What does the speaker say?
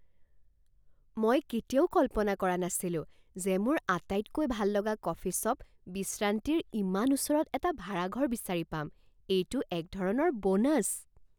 মই কেতিয়াও কল্পনা কৰা নাছিলো যে মোৰ আটাইতকৈ ভাল লগা কফি শ্বপ বিশ্ৰান্তিৰ ইমান ওচৰত এটা ভাৰাঘৰ বিচাৰি পাম। এইটো এক ধৰণৰ ব'নাছ!